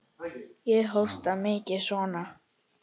Ég hóstaði mikið og svona.